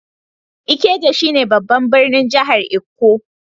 Ikeja shine babban birnin jihar lkko.